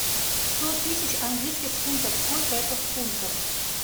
сто тысяч английских фунтов сколько это в фунтах